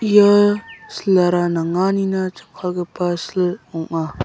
ia sil-ara nanganina jakkalgipa sil ong·a.